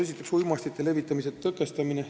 Esiteks, uimastite levitamise tõkestamine.